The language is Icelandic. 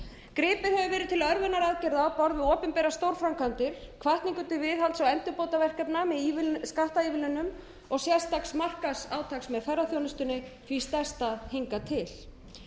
gripið hefur verið til örvunaraðgerða á borð við opinbera stórframkvæmdir hvatningu til viðhalds og endurbótaverkefna með skattaívilnunum og sérstaks markaðsátaks með ferðaþjónustunni því stærsta hingað til